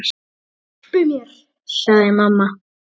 Hjálpi mér, sagði mamma.